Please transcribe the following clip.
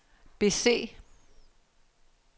bese